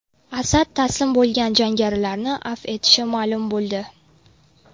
Asad taslim bo‘lgan jangarilarni afv etishi ma’lum bo‘ldi.